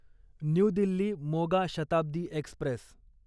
new Delhi Moga Shatabdi Express